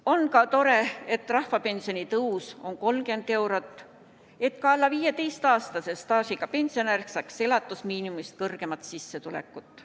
On ka tore, et rahvapensioni tõus on 30 eurot, et ka alla 15-aastase staažiga pensionär saaks elatusmiinimumist kõrgemat sissetulekut.